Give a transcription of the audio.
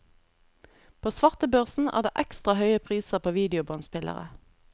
På svartebørsen er det ekstra høye priser på videobåndspillere.